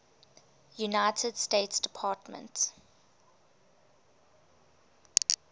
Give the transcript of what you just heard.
united states department